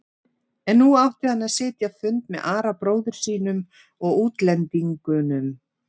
En nú átti hann að sitja fund með Ara bróður sínum og útlendingunum.